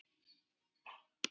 Fyrir á Erla Lindu Rún.